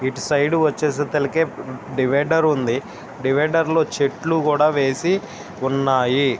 ఇట్లు సైడ్ వాచసితపటికి డివైడర్ ఉంది డివైడర్ లో చెట్లు కూడా వేసి ఉన్నాయి.